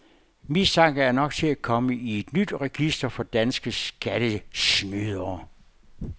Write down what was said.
Mistanke er nok til at komme i et nyt register over danske skattesnydere.